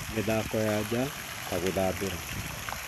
Mĩthako ya nja, ta gũthambĩra,